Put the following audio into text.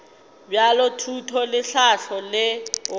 bja thuto le tlhahlo leo